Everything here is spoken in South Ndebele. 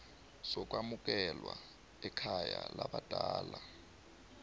sokwamukelwa ekhaya labadala